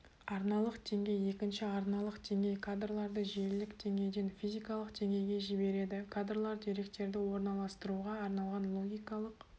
арналық деңгей екінші арналық деңгей кадрларды желілік деңгейден физикалық деңгейге жібереді кадрлар деректерді орналастыруға арналған логикалық